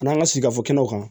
An'an ka sigi fɔ kɛnɛw kan